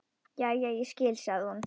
Jæja, ég skil, sagði hún.